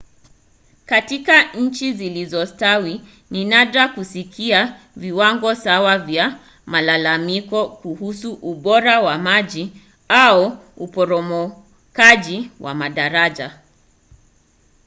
katika nchi zilizostawi ni nadra kusikia viwango sawa vya malalamiko kuhusu ubora wa maji au uporomokaji wa madaraja